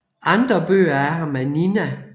Andre bøger af ham er Nina